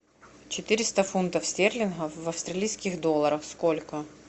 четыреста фунтов стерлингов в австралийских долларах сколько